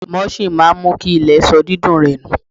Mulching máa ń mú kí ilẹ̀ má sọ dídùn rẹ̀ nù.